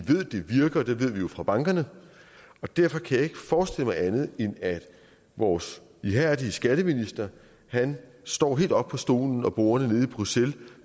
fra bankerne og derfor kan jeg ikke forestille mig andet end at vores ihærdige skatteminister står helt op på stolen og bordet nede i bruxelles